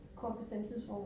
Kort bestemt tidsrum